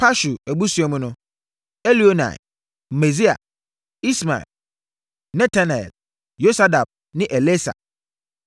Pashur abusua mu no: Elioenai, Maaseia, Ismael, Netanel, Yosabad ne Elasa.